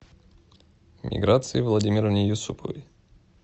миграции владимировне юсуповой